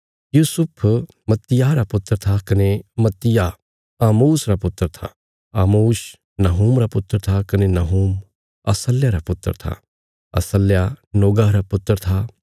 यूसुफ मत्तित्याह रा पुत्र था कने मत्तित्याह आमोस रा पुत्र था आमोस नहूम रा पुत्र था कने नहूम असल्याह रा पुत्र था असल्याह नोगह रा पुत्र था